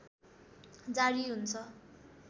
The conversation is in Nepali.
जारी हुन्छ